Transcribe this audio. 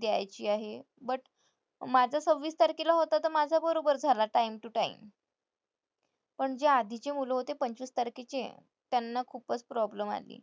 द्यायची आहे. but माझं सव्वीस तारखेला होता तर माझा बरोबर झाला time to time पण जे आधीचे मुलं होते पंचवीस तारखेचे त्यांना खूपच problem आली.